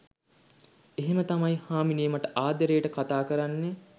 එහෙම තමයි හාමිනේ මට ආදරේට කතා කරන්නේ